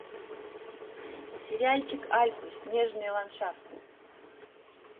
сериальчик альпы снежные ландшафты